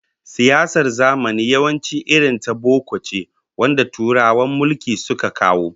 Siyasar zamani yawanci irin ta boko ce wanda Turawan mulki suka kawo